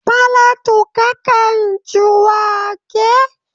Falatu ka kan ci wake?